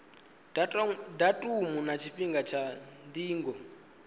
datumu na tshifhinga tsha ndingo